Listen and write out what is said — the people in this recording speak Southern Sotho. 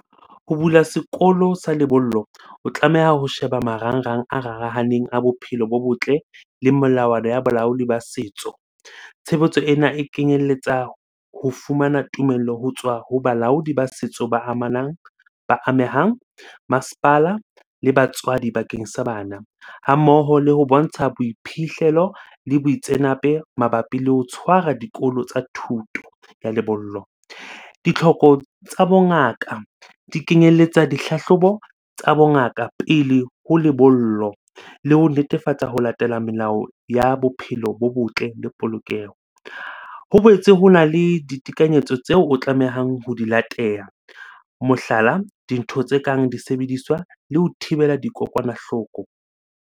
Ho bula sekolo sa lebollo o tlameha ho sheba marangrang a rarahaneng a bophelo bo botle le melawana ya balaodi ba setso. Tshebetso ena e kenyelletsa ho fumana tumello ho tswa ho balaodi ba setso ba amanang, ba amehang, masepala le batswadi bakeng sa bana. Ha mmoho le ho bontsha boiphihlelo le mabapi le ho tshwara dikolo tsa thuto ya lebollo. Ditlhoko tsa bongaka di kenyelletsa dihlahlobo tsa bongaka pele ho lebollo le ho netefatsa ho latela melao ya bophelo bo botle le polokeho. Ho boetse hona le ditekanyetso tseo o tlamehang ho di latela. Mohlala, dintho tse kang disebediswa le ho thibela dikokwanahloko.